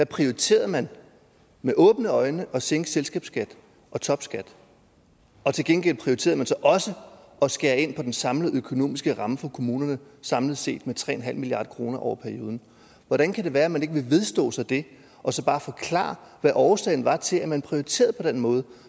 prioriterede man med åbne øjne at sænke selskabsskat og topskat og til gengæld prioriterede man så også at skære ind på den samlede økonomiske ramme for kommunerne samlet set med tre milliard kroner over perioden hvordan kan det være man ikke vil vedstå sig det og så bare forklare hvad årsagen var til at man prioriterede på den måde